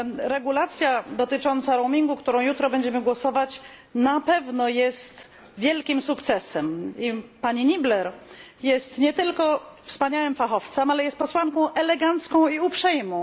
Regulacja dotycząca roamingu, nad którą jutro będziemy głosować, na pewno jest wielkim sukcesem i pani Niebler jest nie tylko wspaniałym fachowcem, ale jest posłanką elegancką i uprzejmą.